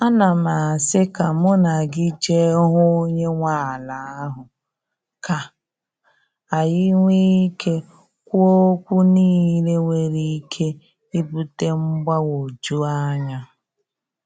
Ana m asị ka mụ na gị je hụ onye nwe ala ahụ, ka anyị nwee ike kwuo okwu niile nwere ike ibute mgbagwoju anya.